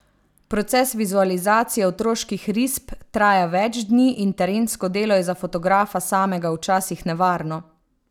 Proces vizualizacije otroških risb traja več dni in terensko delo je za fotografa samega včasih nevarno.